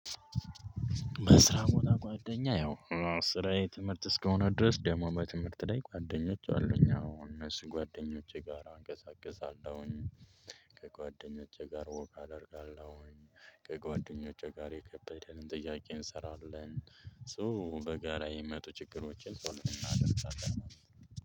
በስራም ሆነ ጓደኛ ያው ስራዬ ትምህርት እስከሆነ ድረስ ደግሞ በትምህርት ላይ ጓደኞች አሉኝ አዎን እነሱ ጓደኞቼ ጋራ አንቀሳቅሳለሁኝ። ከጓደኞቼ ጋር ወክ አደርጋለሁኝ ከጓደኞቼ ጋር የከበደንን ጥያቄ እንሰራለን። ሶ በጋራ የሚመጡ ችግሮችን ሶልቭ እናደርጋለን።